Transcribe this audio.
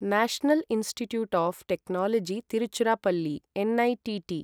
national Institute of Technology Tiruchirappalli NITT